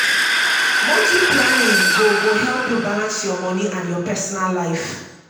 monthly planning go go help yu balance yur moni and yur personal life.